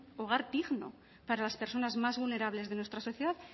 hogar digno para las personas más vulnerables de nuestra sociedad